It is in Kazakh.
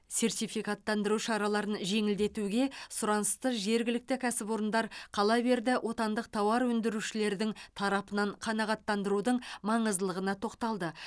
сертификаттандыру шараларын жеңілдетуге сұранысты жергілікті кәсіпорындар қала берді отандық тауар өндірушілердің тарапынан қанағаттандырудың маңыздылығына тоқталды